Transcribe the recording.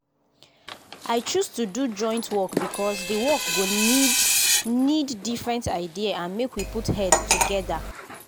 i choose to do joint work because the work go need need different idea and make we put head together.